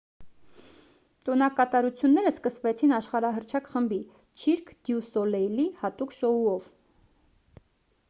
տոնակատարությունները սկսվեցին աշխարհահռչակ խմբի չիրկ դյու սոլեյլի հատուկ շոուով